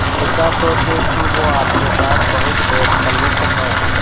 ऐसा सोचें कि वो आपके साथ बहुत बेतकल्लुफ़ है